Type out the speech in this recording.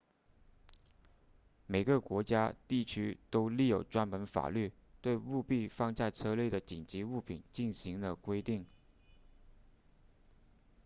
每个国家地区都立有专门法律对务必放在车内的紧急物品进行了规定